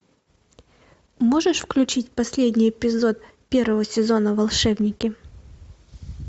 можешь включить последний эпизод первого сезона волшебники